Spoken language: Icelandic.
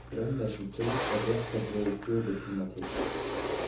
Römm er sú taug, er rekka dregur föðurtúna til.